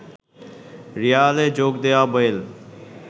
রিয়ালে যোগ দেয়া বেল